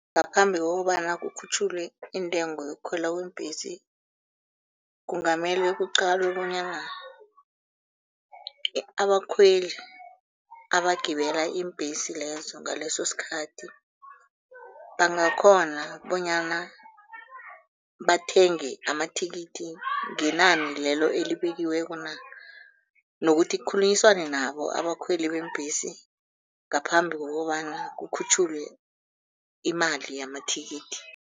Ngaphambi kokobana kukhutjhulwe intengo yokukhwela kweembhesi, kungamele kuqalwe bonyana abakhweli abagibela iimbhesi lezo ngaleso sikhathi, bangakghona bonyana bathenge amathikithi ngenani lelo elibekiweko na? Nokuthi kukhulunyiswane nabo abakhweli beembhesi ngaphambi kokobana kukhutjhulwe imali yamathikithi.